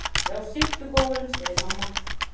Já, sittu góurinn, segir mamma.